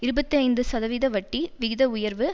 இருபத்தி ஐந்து சதவீத வட்டி விகித உயர்வு